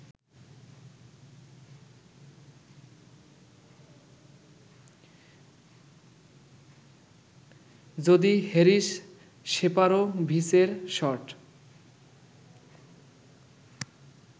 যদি হ্যারিস সেফারোভিচের শট